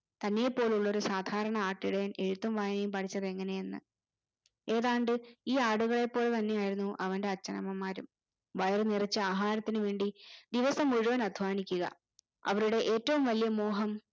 തന്നെ പോലെയുള്ളൊരു സാധാരണ ആട്ടിടയൻ എഴുത്തും വായനയും പഠിച്ചതെങ്ങനെയെന്ന് ഏതാണ്ട് ഈ ആടുകളെ പോലെ തന്നെയായിരുന്നു അവന്റെ അച്ഛനമ്മമാരും വയറു നിറച്ച് ആഹാരത്തിനു വേണ്ടി ദിവസം മുഴുവൻ അദ്വാനിക്കുക അവരുടെ ഏറ്റവും വലിയ മോഹം